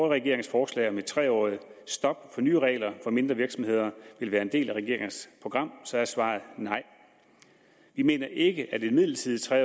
regerings forslag om et tre års stop for nye regler for mindre virksomheder vil være en del af regeringens program er svaret nej vi mener ikke at et midlertidigt tre